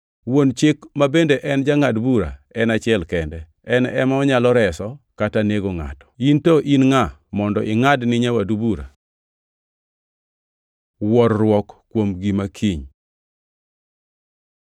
Wuon Chik ma bende en Jangʼad bura en achiel kende. En ema onyalo reso kata nego ngʼato. In to in ngʼa mondo ingʼad ni nyawadu bura? Wuorruok kuom gima kiny